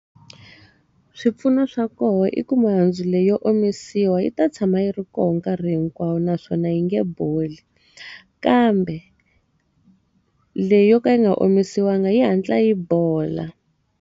Swipfuno swa kona i ku mihandzu leyi yo omisiwa yi ta tshama yi ri koho nkarhi hinkwawo naswona yi nga boli. Kambe, leyi yo ka yi nga omisiwanga yi hatla yi bola.